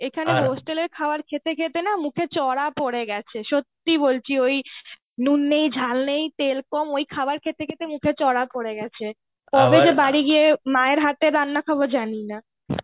এখানে hostel এর খাবার খেতে খেতে মুখে চড়া পরে গেছে. সত্যি বলছি. যে ওই নুন নেই ঝাল নেই, তেল কম ওই খাবার খেতে খেতে মুখে চড়া পরে গেছে. কবে যে বাড়ি গিয়ে মায়ের হাতের রান্না খাবো জানিনা.